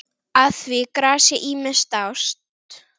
Að því grasi ýmsir dást.